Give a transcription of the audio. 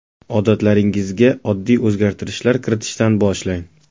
Odatlaringizga oddiy o‘zgartirishlar kiritishdan boshlang.